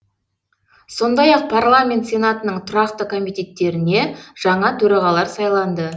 сондай ақ парламент сенатының тұрақты комитеттеріне жаңа төрағалар сайланды